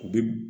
Bi